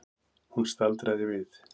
Hún staldraði við.